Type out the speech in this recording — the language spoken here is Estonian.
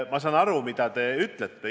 Ma saan aru, mida te ütlete.